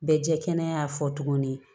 Bɛ jɛ kɛnɛya fɔ tuguni